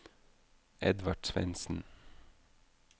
Edvard Svendsen